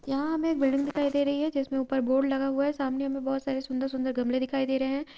यहां हमे बिल्डिंग दिखाई दे रही है जिसमें ऊपर बोर्ड लगा हुआ है| सामने में बहुत सारे सुंदर-सुंदर गमले दिखाई दे रहे हैं ।